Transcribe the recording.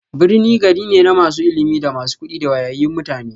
Birni gari ne na masu ilimi, da masu kuɗi da wayayyun mutane.